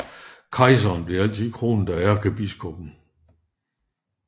Kejserne blev altid kronet af ærkebiskoppen